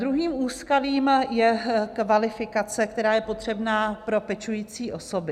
Druhým úskalím je kvalifikace, která je potřebná pro pečující osoby.